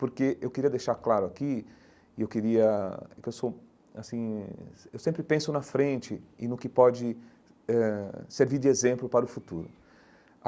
Porque eu queria deixar claro aqui, e eu queria é que eu sou assim eh eu sempre penso na frente e no que pode eh servir de exemplo para o futuro.